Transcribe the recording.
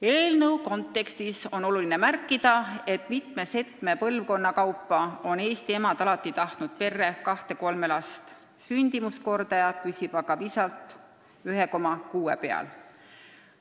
Eelnõu kontekstis on oluline märkida, et mitme-setme põlvkonna jooksul on Eesti emad tahtnud perre kahte-kolme last, sündimuskordaja püsib aga visalt 1,6 peal.